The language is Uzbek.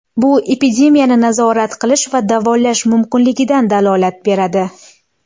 Bu epidemiyani nazorat qilish va davolash mumkinligidan dalolat beradi.